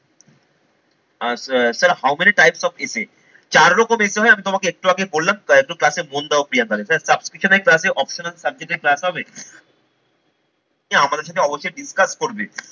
Ah sir how many types of essay চার রকম essay হয় আমি তোমাকে একটু আগে বললাম তো একটু ক্লাসে মন দাও প্রিয়াঙ্কা। এখানে subscription এর class এ optional subject এর class হবে তুমি আমাদের সাথে অবশ্যই discuss করবে